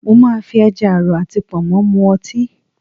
Mo máa fi ẹja àrọ̀ àti Pọ̀nmọ́ mu ọtí